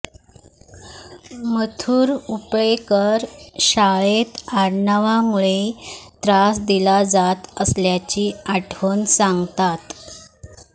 मथुर उपळेकर शाळेत आडनावामुळे त्रास दिला जात असल्याची आठवण सांगतात